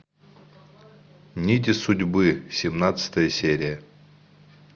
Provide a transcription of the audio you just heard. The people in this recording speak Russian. нити судьбы семнадцатая серия